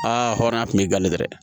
Aa hɔrɔnya tun b'i kalite dɛ